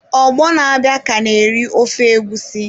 Ọgbọ na-abịa ka na-eri ofe egusi!